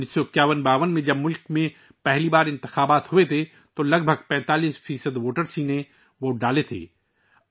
195152 میں جب ملک میں پہلی بار انتخابات ہوئے تو صرف 45 فیصد رائے دہندگان نے اپنا حق رائے دہی استعمال کیا تھا